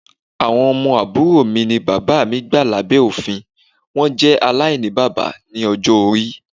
Awọn ọmọ aburo mi ni baba mi gba labẹ ofin, wọn jẹ alainibaba ni ọjọ-ori